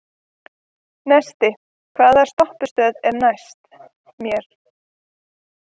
Neisti, hvaða stoppistöð er næst mér?